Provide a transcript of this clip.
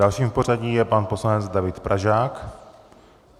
Dalším v pořadí je pan poslanec David Pražák.